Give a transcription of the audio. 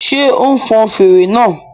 Ṣé o n fọn fèrè náà?